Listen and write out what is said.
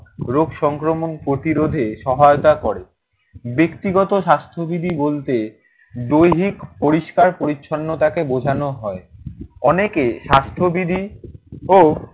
রোগ সংক্রমণ প্রতিরোধে সহায়তা করে। ব্যক্তিগত স্বাস্থ্যবিধি বলতে দৈহিক পরিষ্কার পরিচ্ছন্নতাকে বোঝানো হয়। অনেকে স্বাস্থ্যবিধি ও